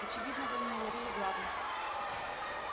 очевидно вы не уловили главного